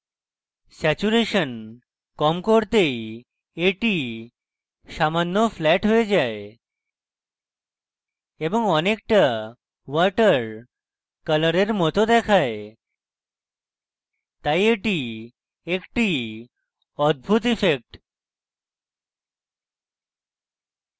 saturation কম করতেই এটি সামান্য ফ্ল্যাট হয়ে যায় এবং অনেকটা water কলরের মত দেখায় তাই এটি একটি অদ্ভুত ইফেক্ট